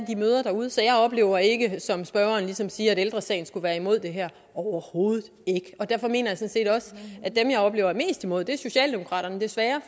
de møder derude så jeg oplever ikke som spørgeren ligesom siger at ældre sagen skulle være imod det her overhovedet ikke og derfor mener set også at dem jeg oplever er mest imod det er socialdemokraterne desværre